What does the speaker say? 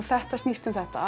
þetta snýst um þetta